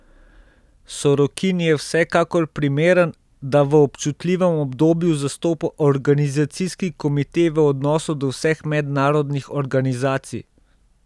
Sorokin je vsekakor primeren, da v občutljivem obdobju zastopa organizacijski komite v odnosu do vseh mednarodnih organizacij.